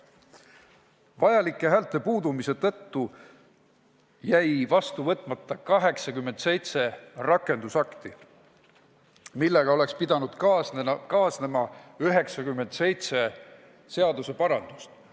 Vajalike häälte puudumise tõttu jäi vastu võtmata 87 rakendusakti, millega oleks pidanud kaasnema 97 seaduseparandust.